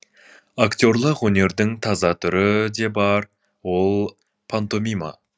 актерлік өнердің таза түрі де бар ол пантомима